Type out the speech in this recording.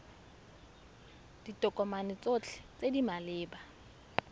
ditokomane tsotlhe tse di maleba